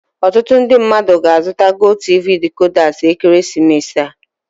Ọtụtụ ndị mmadụ ga-azụta GOTV decoders ekeresimesi ya.